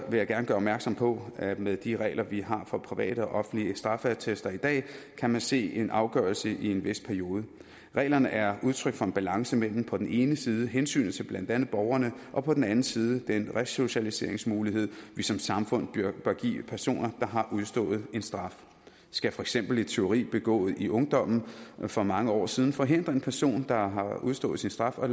vil jeg gerne gøre opmærksom på at med de regler vi har for private og offentlige straffeattester i dag kan man se en afgørelse i en vis periode reglerne er udtryk for en balance mellem på den ene side hensynet til blandt andet borgerne og på den anden side den resocialiseringsmulighed vi som samfund bør give personer der har udstået en straf skal for eksempel et tyveri begået i ungdommen for mange år siden forhindre en person der har udstået sin straf og